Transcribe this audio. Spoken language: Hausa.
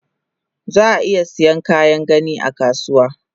Zaa iya Saiyan Kayan gani akasuwa